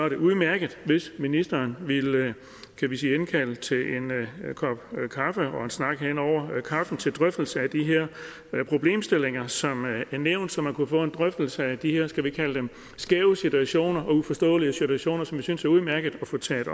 det udmærket hvis ministeren ville indkalde til en kop kaffe og en snak hen over kaffen til drøftelse af de her problemstillinger som er nævnt så man kunne få en drøftelse af de her skal vi kalde dem skæve situationer og uforståelige situationer som vi synes udmærket at få taget